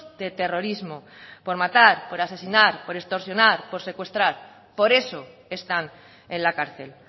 de terrorismo por matar por asesinar por extorsionar por secuestrar por eso están en la cárcel